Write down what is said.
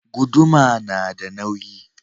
Guduma na da nauyi